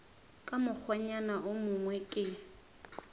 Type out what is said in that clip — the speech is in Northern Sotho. ka mokgwanyana wo mongwe ke